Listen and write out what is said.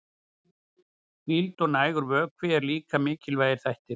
Hvíld og nægur vökvi eru líka mikilvægir þættir.